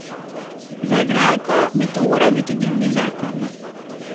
Za igralko bi to moral biti drugi zakon.